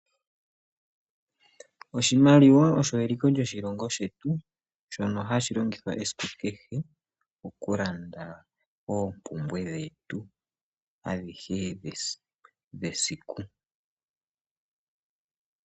Oshimaliwa osho eliko lyoshilongo shetu shono hashi longithwa esiku kehe oku landa oompumbwe dhetu adhihe dhesiku.